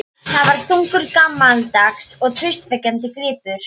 Það var þungur, gamaldags og traustvekjandi gripur.